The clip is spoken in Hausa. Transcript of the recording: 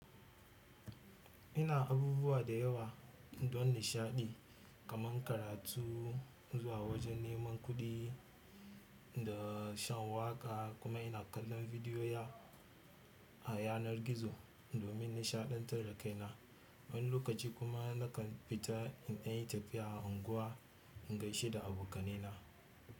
Ina abubuwa da yawa don nishaɗi kamar karatu zuwa wajen neman kuɗi da shan waƙa kuma ina kallon bidiyo a yanar gizo domin nishaɗantar da kaina. Wani lokaci kuma nakan fita in yi tafiya a unguwa in gaishe da abokanai na.